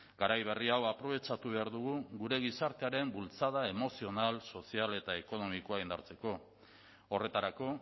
garai berri hau aprobetxatu behar dugu gure gizartearen bultzada emozional sozial eta ekonomikoa indartzeko horretarako